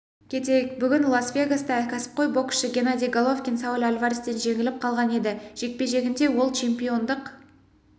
кетейік бүгін лас-вегаста кәсіпқой боксшы геннадий головкин сауль альварестен жеңіліп қалған еді жекпе-жегінде ол чемпиондық